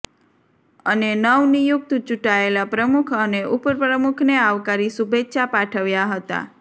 અને નવ નિયુક્ત ચૂંટાયેલા પ્રમુખ અને ઉપપ્રમુખને આવકારી શુભેચ્છા પાઠવ્યા હતા